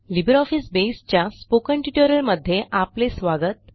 LibreOffice Base च्या spoken ट्युटोरियलमध्ये आपले स्वागत